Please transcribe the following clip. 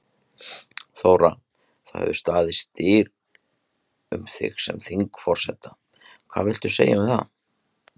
Þóra: Það hefur staðið styr um þig sem þingforseta, hvað viltu segja um það?